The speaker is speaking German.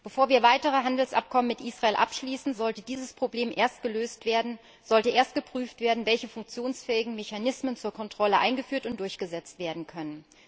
Bevor wir weitere Handelsabkommen mit Israel abschließen, sollte dieses Problem erst gelöst werden, sollte erst geprüft werden, welche funktionsfähigen Mechanismen zur Kontrolle eingeführt und durchgesetzt werden können.